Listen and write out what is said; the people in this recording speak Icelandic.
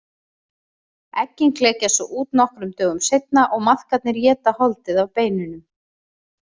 Eggin klekjast svo út nokkrum dögum seinna og maðkarnir éta holdið af beinunum.